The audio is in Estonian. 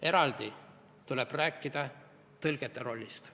Eraldi tuleb rääkida tõlgete rollist.